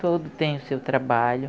Todos têm o seu trabalho.